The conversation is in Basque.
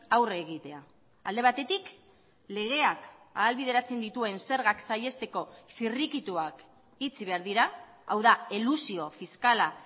aurre egitea alde batetik legeak ahalbideratzen dituen zergak saihesteko zirrikituak itxi behar dira hau da elusio fiskala